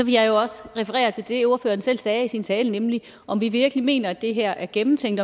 jeg jo også referere til det ordføreren selv sagde i sin tale nemlig om vi virkelig mener at det her er gennemtænkt